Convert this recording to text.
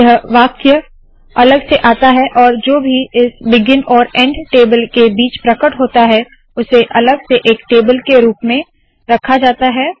यह वाक्य अलग से आता है और जो भी इस बिगिन और एंड टेबल के बीच प्रकट होता है उसे अलग से एक टेबल के रुप में रखा जाता है